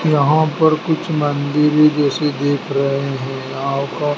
यहां पर कुछ मंदिर जैसे दिख रहे है यहां का--